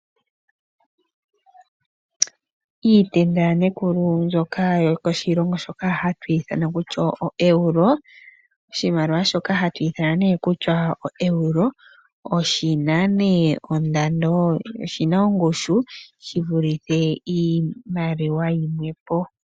Iitenda yaNekulu mbyoka yokoshilongo shoka hashi longitha ooEuro. Oshimaliwa shoka hashi ithanwa kutya oEuro oshi na ongushu shi vulitha iimaliwa yimwe po.